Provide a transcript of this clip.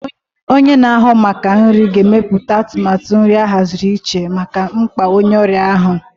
Onye na-ahụ maka nri ga-emepụta atụmatụ nri ahaziri iche maka mkpa onye ọrịa ahụ.